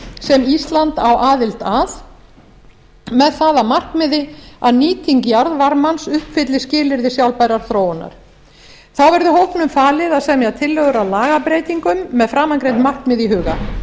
sem ísland á aðild að með það að markmiði að nýting jarðvarmans uppfylli skilyrði sjálfbærrar þróunar þá verði hópnum falið að semja tillögur að lagabreytingum með framangreind markmið í huga